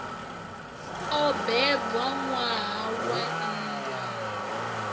o bebwa ṋwaha wa nndwa